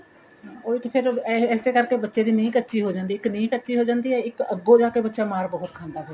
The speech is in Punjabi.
ਉਹੀ ਤਾਂ ਫੇਰ ਇਸੇ ਕਰਕੇ ਬੱਚੇ ਦੀ ਨਿਹ ਕੱਚੀ ਹੋ ਜਾਂਦੀ ਏ ਇੱਕ ਨਿਹ ਕੱਚੀ ਹੋ ਜਾਂਦੀ ਏ ਇੱਕ ਅੱਗੋ ਜਾ ਕੇ ਬੱਚਾ ਮਾਰ ਬਹੁਤ ਖਾਂਦਾ ਫੇਰ